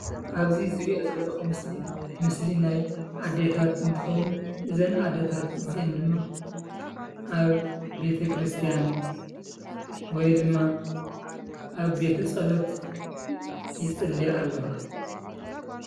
ኣብዚ ዝሪኦ ዘለኹ ምስሊ ምስሊ ናይ ኣዴታት እንትኸዉን እዘን ኣዴታት እዚአን ድማ ኣብ ቤተክርስትያን ወይ ድማ ኣብ ቤተ ፀሎት ይፅልያ ኣለዋ።